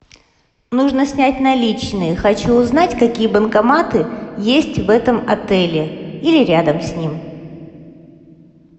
нужно снять наличные хочу узнать какие банкоматы есть в этом отеле или рядом с ним